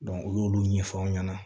u y'olu ɲɛfɔ aw ɲɛna